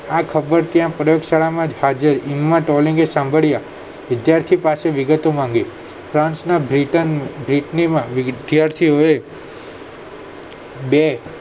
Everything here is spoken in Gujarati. આ ખબર ત્યાં પ્રયોગશાળા માં એમ્મા ટેલલિંગએ સાંભળ્યા વિદ્યર્થી પાસે વિગતો માંગી ફ્રાન્સના માં વિદ્યાર્થીઓએ બે